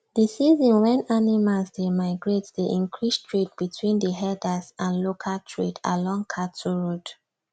the season wen animal dey migrate dey increase trade between the herders and local trade along cattle road